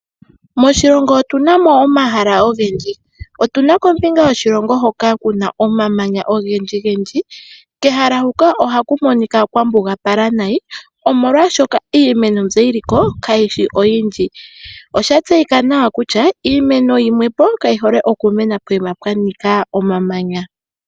Moshilongo otuna no omahala ogendji otuna kombinga yoshilongo hoka kuna omamanya ogendjigendji kehala huka ohaku monika kwa mbugapala nayi omolwashoka iimeno mbyo yi liko kayishi oyindji osha tseyika nawa kutya iimeno yimwe kayi hole okumena poyima kaapena omamanya.